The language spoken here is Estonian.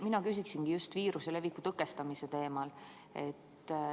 Mina küsin just viiruse leviku tõkestamise teemal.